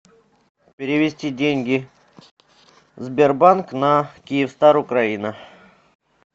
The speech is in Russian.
перевести деньги сбербанк на киевстар украина